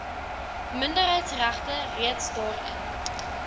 minderheidsregte reeds daarin